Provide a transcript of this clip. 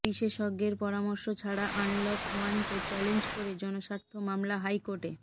বিশেষজ্ঞের পরামর্শ ছাড়া আনলক ওয়ানকে চ্যালেঞ্জ করে জনস্বার্থ মামলা হাইকোর্টে